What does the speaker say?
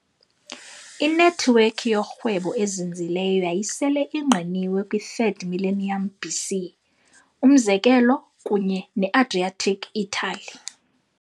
Inethiwekhi yorhwebo ezinzileyo yayisele ingqinwe kwi -3rd millennium BC, umzekelo kunye ne-Adriatic Italy.